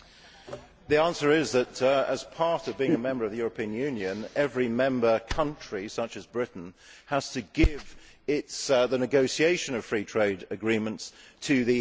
The answer is that, as part of being a member of the European Union, every member country, such as Britain, has to hand over the negotiation of free trade agreements to the EU.